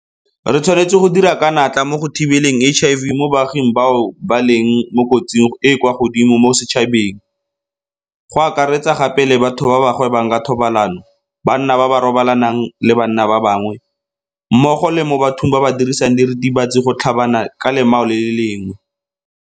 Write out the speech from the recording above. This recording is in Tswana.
Re tshwaetse go dira ka natla mo go thibeleng HIV mo baaging bao ba leng mo kotsing e e kwa godimo mo setšhabeng, go akaretsa gape le batho ba ba gwebang ka thobalano, banna ba ba robalanang le banna ba bangwe, mmogo le mo bathong ba ba dirisang diritibatsi ka gotlhabana ka lemao le le lengwe.